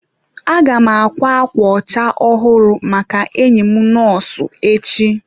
Aga m ákwá ákwà ọcha ọhụrụ maka enyi m nọọsụ echi.